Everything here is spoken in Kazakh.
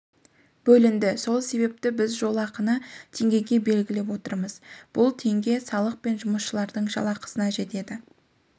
бөлінді сол себепті біз жолақыны теңгеге белгілеп отырмыз бұл теңге салық пен жұмысшылардың жалақысына жетеді